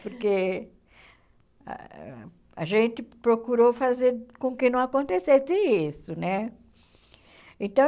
Porque a gente procurou fazer com que não acontecesse isso, né? Então